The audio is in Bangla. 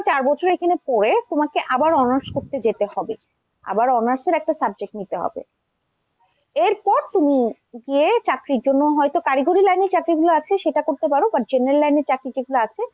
চার বছর এখানে পড়ে তোমাকে আবার honours করতে যেতে হবে আবার honours এর একটা subject নিতে হবে। এরপর তুমি গিয়ে চাকরির জন্য হয়তো কারিগরি line এ চাকরিগুলো আছে সেটা করতে পারো বা general line চাকরি যেগুলো আছে,